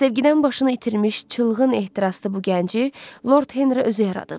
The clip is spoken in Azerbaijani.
Sevgidən başını itirmiş, çılğın ehtiraslı bu gənci Lord Henri özü yaradıb.